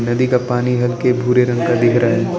नदी का पानी हल्के भूरे रंग का दिख रहा है।